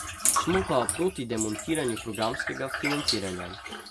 Smo pa proti demontiranju programskega financiranja.